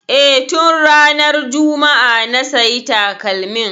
E, tun ranar juma'a na sayi takalmin.